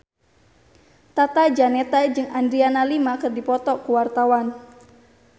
Tata Janeta jeung Adriana Lima keur dipoto ku wartawan